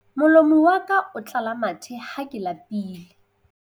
Molomo wa ka o tlala mathe ha ke lapile.